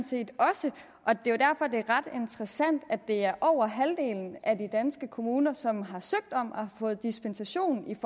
set også og det er ret interessant at det er over halvdelen af de danske kommuner som har søgt om og har fået dispensation